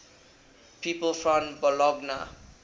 people from bologna